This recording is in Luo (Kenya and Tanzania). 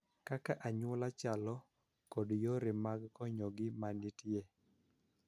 Kaka anyuola chalo, kod yore mag konyogi ma nitie.